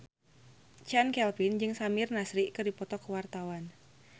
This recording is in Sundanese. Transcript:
Chand Kelvin jeung Samir Nasri keur dipoto ku wartawan